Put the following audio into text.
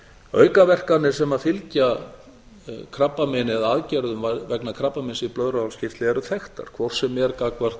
aukaverkanir sem fylgja krabbameini eða aðgerðum vegna krabbameins í blöðruhálskirtli eru þekktar hvort sem er gagnvart